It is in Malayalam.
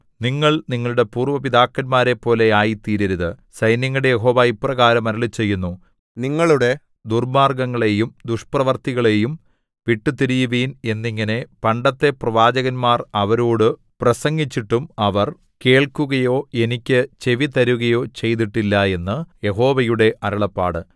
നിങ്ങൾ നിങ്ങളുടെ പൂര്‍വ പിതാക്കന്മാരെപ്പോലെ ആയിത്തീരരുത് സൈന്യങ്ങളുടെ യഹോവ ഇപ്രകാരം അരുളിച്ചെയ്യുന്നു നിങ്ങളുടെ ദുർമ്മാർഗ്ഗങ്ങളെയും ദുഷ്പ്രവൃത്തികളെയും വിട്ടുതിരിയുവിൻ എന്നിങ്ങനെ പണ്ടത്തെ പ്രവാചകന്മാർ അവരോടു പ്രസംഗിച്ചിട്ടും അവർ കേൾക്കുകയോ എനിക്ക് ചെവി തരുകയോ ചെയ്തിട്ടില്ല എന്നു യഹോവയുടെ അരുളപ്പാട്